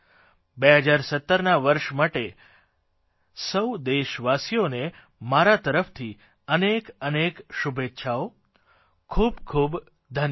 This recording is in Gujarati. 2017ના વર્ષ માટે સૌ દેશવાસીઓને મારા તરફથી અનેક અનેક શુભેચ્છાઓ ખૂબ ખૂબ ધન્યવાદ